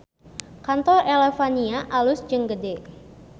Kantor Elevania alus jeung gede